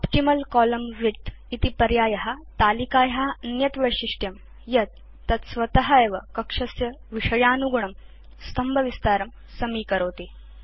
optimal column width इति पर्याय तलिकाया अन्यत् वैशिष्ट्यं यत् तत् स्वत एव कक्षस्य विषयानुगुणं स्तम्भविस्तारं समीकरोति